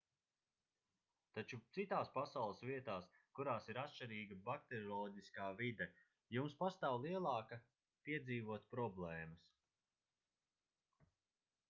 taču citās pasaules vietās kurās ir atšķirīga bakterioloģiskā vide jums pastāv lielāka piedzīvot problēmas